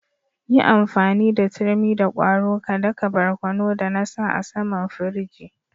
Yi amfani da turmi da kwaro ka da ka barkono da na sa a'saman firiji.